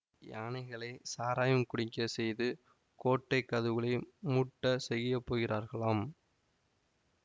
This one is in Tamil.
யானைகளைச் சாராயம் குடிக்கச் செய்து கோட்டை கதவுகளை முட்டச் செய்யப்போகிறார்களாம்